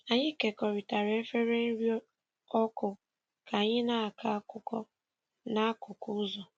Anyị kekọrịtara efere nri ọkụ ka anyị na-akọ akụkọ n'akụkụ ụzọ.